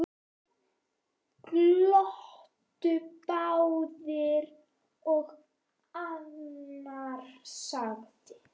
Glottu báðir og annar sagði: